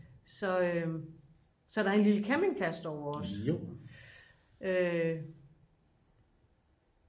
så der er en lille campingplads derovre også